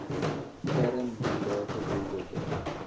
kern mandate doelwitte